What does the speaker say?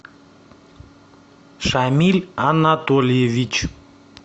шамиль анатольевич